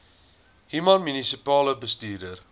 human munisipale bestuurder